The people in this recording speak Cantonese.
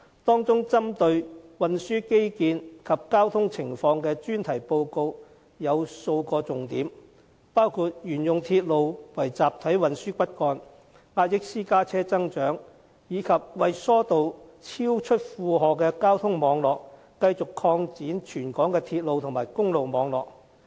當中針對運輸基建及交通情況的專題報告有數個重點，包括沿用鐵路為集體運輸骨幹，壓抑私家車增長，以及為疏導超出負荷的交通網絡而繼續擴展全港鐵路和公路網絡。